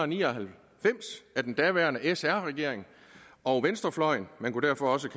ni og halvfems af den daværende sr regering og venstrefløjen man kunne derfor også